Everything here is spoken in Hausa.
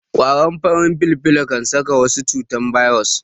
ƙwaron farin filfilo kan saka wa shuka cutar bairos